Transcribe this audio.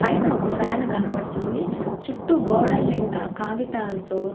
పైన ఒక ఫ్యాన్ కనబడుతుంది చుట్టూ గోడల నిండ కాగితాల్తో.